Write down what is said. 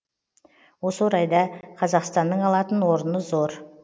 осы орайда қазақстаның алатын орны зор